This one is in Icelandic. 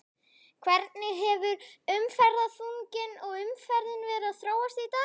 Hvernig hefur umferðarþunginn og umferðin verið að þróast í dag?